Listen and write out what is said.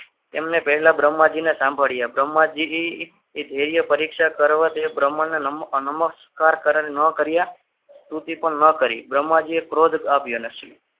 એમણે પહેલા બ્રહ્માજીને સાંભળ્યા બ્રહ્માજી એ પરીક્ષા કરવા યોગ્ય પ્રમાણમાં નમઃ નમસ્કાર કરણ ના કર્યા સ્તુતિ પણ ના કરી ટૂંકમાં જે ક્રોધ આપ્યો અને